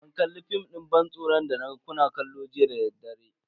Ban kalli fim din ban tsoron da naga kuna kallo jiya dadaddare.